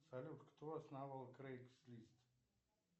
салют кто основал крейкс лист